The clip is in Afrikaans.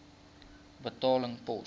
betaling pos